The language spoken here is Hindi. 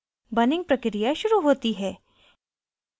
burning प्रक्रिया शुरू होती है